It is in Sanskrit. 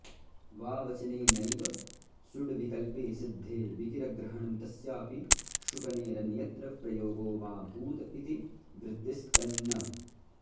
वावचनेनैव सुड्विकल्पे सिद्धे विकिरग्रहणं तस्यापि शकुनेरन्यत्र प्रयोगो मा भूत् इति वृत्तिस्तन्न